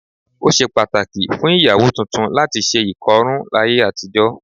Ó ṣe pàtàkì fún ìyàwó tuntun láti ṣe ìkọrún láyé àtijọ́